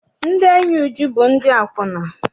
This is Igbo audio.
Ndị enyi Uju bụ ndị akwụna.